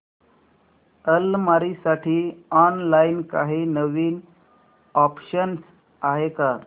अलमारी साठी ऑनलाइन काही नवीन ऑप्शन्स आहेत का